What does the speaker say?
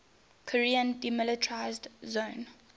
korean demilitarized zone